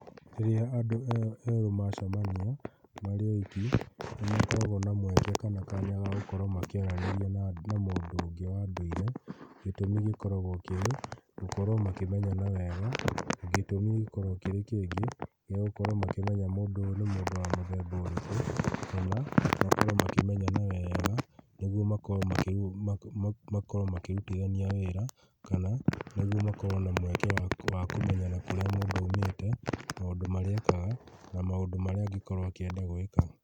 Rĩrĩa andũ erũ macamania marĩ oiki nĩ makoragwo na mweke kana kanya ga gũkorwo makĩaranĩria na mũndũ ũngĩ wa ndũire, gĩtũmĩ gĩkoragwo kĩ gũkorwo makĩmenyana wega, gĩtũmi gĩkoragwo gĩ kĩngĩ gĩa gũkorwo makĩmenya mũndũ ũyũ nĩ mũndũ wa mũthemba ũrĩkũ, kana makorwo makĩmenyana wega nĩguo makorwo makĩrutithania wĩra kana nĩguo makorwo na mweke wa kũmenyana kũrĩa mũndũ aumĩte, maũndũ marĩa ekaga na maũndũ marĩa angĩkorwo akĩenda gwĩka.